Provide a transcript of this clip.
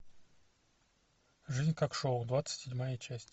жизнь как шоу двадцать седьмая часть